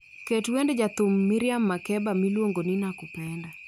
Ket wend Jathum Miriam Makeba miluongo ni nakupenda